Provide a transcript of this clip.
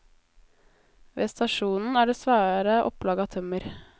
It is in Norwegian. Ved stasjonen er det svære opplag av tømmer.